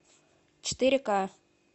четыре ка